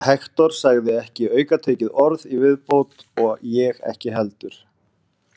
Hektor sagði ekki aukatekið orð í viðbót og ég ekki heldur.